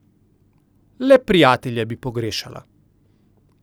Le prijatelje bi pogrešala.